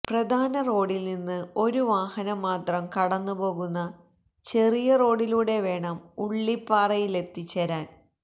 പ്രധാന റോഡിൽ നിന്ന് ഒരു വാഹനംമാത്രം കടന്നു പോകുന്ന ചെറിയ റോഡിലൂടെ വേണം ഉള്ളിപ്പാറയിലെത്തിച്ചേരാൻ